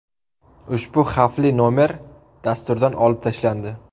Ushbu xavfli nomer dasturdan olib tashlandi.